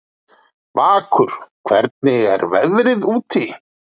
Vakur, hvernig er veðrið úti?